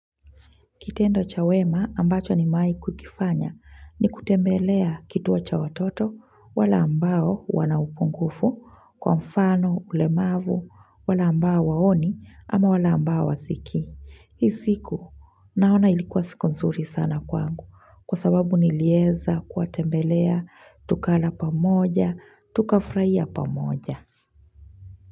Kitendo cha wema ambacho nimewahi kukifanya ni kutembelea kituo cha watoto wale ambao wana upungufu, kwa mfano, ulemavu, wale ambao waoni ama wala ambao hawasiki. Hii siku naona ilikuwa siku nzuri sana kwangu kwa sababu nilieza kuwatembelea, tukala pamoja, tukafurahia pamoja.